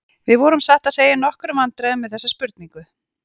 Við vorum satt að segja í nokkrum vandræðum með þessa spurningu.